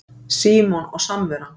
SÍMON OG SAMVERAN